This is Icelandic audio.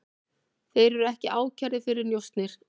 Þeir eru ekki ákærðir fyrir njósnir